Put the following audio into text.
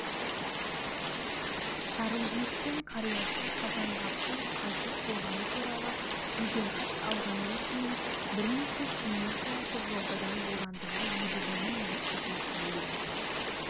сарыөзектің қариясы қазанғаптың қайтыс болғаны туралы жеделхат алғаннан кейін бірнеше күннен соң қызылордадан борандыға едігенің екі қызы сәуле